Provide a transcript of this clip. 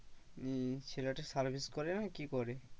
উম ছেলেটা service করে না কি করে?